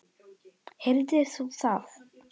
Heyrðir þú það?